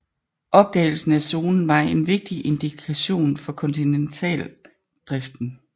Opdagelsen af zonen var en vigtig indikation for kontinentaldriften